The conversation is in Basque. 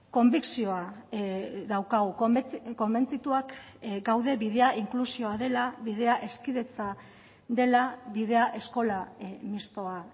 konbikzioa daukagu konbentzituak gaude bidea inklusioa dela bidea hezkidetza dela bidea eskola mixtoa